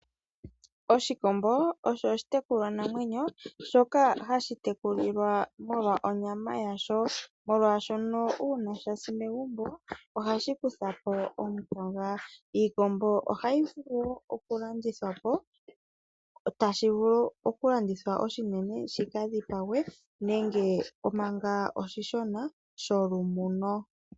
Oshikombo osho oshitekulwa namenyo, shoka hashitekulilwa molwa onyama yasho, molwashono una shasi megumbo ohashikuthapo omukaga iikombo otayivulu wo okulandithwapo tashivulu okulandithwa oshinene shikadhipangwe nenge maka oshishona sholumuno.